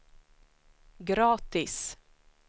gratis